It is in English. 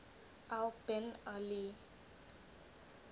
al bin ali